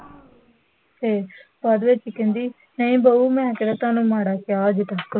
ਤੇ ਬਾਅਦ ਵਿਚ ਕਹਿੰਦੀ, ਨਹੀਂ ਬਹੁ ਮੈਂ ਕਿਹੜਾ ਤੁਹਾਨੂੰ ਮਾੜਾ ਕਿਹਾ ਹਜੇ ਤਕ